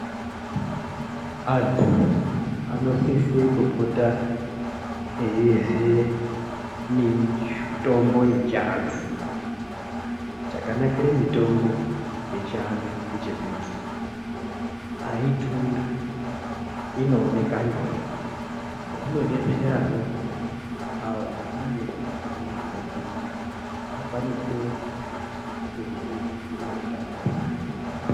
Antu anosise kupota eyirye mitombo yechiantu. Chakanakire mitombo yechiantu ngechekuti haidhuri, inooneka nyore. Zvinodetserawo awo anenge asina mare kuti akwanise kuzvigadzirire utano hwawo.